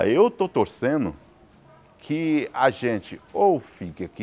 Ah, eu estou torcendo que a gente ou fique aqui,